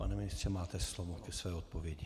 Pane ministře, máte slovo ke své odpovědi.